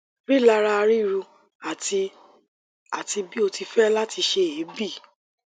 rilara ríru ati ati bi o ti fẹ lati se eebi